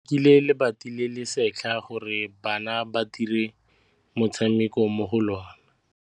Ba rekile lebati le le setlha gore bana ba dire motshameko mo go lona.